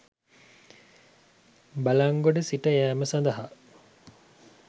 බළන්ගොඩ සිට යෑම සඳහා